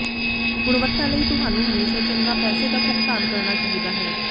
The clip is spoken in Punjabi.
ਗੁਣਵੱਤਾ ਲਈ ਤੁਹਾਨੂੰ ਹਮੇਸ਼ਾ ਚੰਗਾ ਪੈਸੇ ਦਾ ਭੁਗਤਾਨ ਕਰਨਾ ਚਾਹੀਦਾ ਹੈ